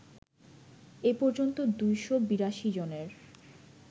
এ পর্যন্ত ২৮২ জনের